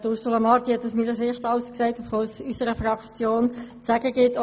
Ursula Marti hat aus meiner Sicht alles gesagt, was es von Seiten unserer Fraktion zu sagen gibt.